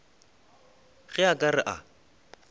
ge a ka re a